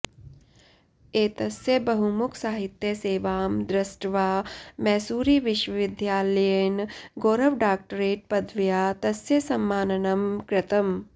एतस्य बहुमुखसाहित्यसेवां दृष्ट्वा मैसूरिविश्वविद्यालयेन गौरवडाक्टरेट् पदव्या तस्य सम्माननं कृतम